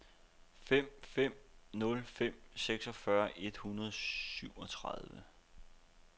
fem fem nul fem seksogfyrre et hundrede og syvogtredive